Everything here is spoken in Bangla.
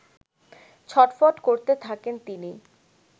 ছটফট করতে থাকেন তিনি